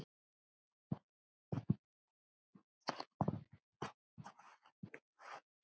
Það taki því á.